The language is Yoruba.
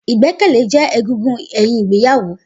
Igbẹkẹlẹ jẹ ẹgúngún ẹyin Ìgbeyàwo.